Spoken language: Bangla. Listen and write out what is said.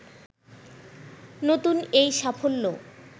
নতুন এই সাফল্য